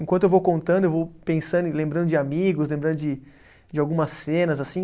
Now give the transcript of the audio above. Enquanto eu vou contando, eu vou pensando e lembrando de amigos, lembrando de de algumas cenas, assim.